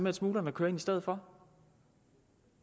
at smuglerne kører ind i stedet for